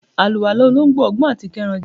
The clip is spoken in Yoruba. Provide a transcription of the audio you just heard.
àlúwalá olońgbo, ogbọn atí kerán je